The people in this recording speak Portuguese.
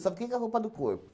Só fiquei com a roupa do corpo.